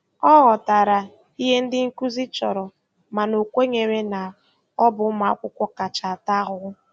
Ọ ghọtara ihe ndị nkuzi chọrọ mana o kwenyere na ọ bụ ụmụ akwụkwọ kacha ata ahụhụ.